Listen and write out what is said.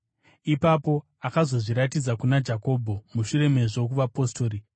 Ipapo akazozviratidza kuna Jakobho, mushure mezvo kuvapostori,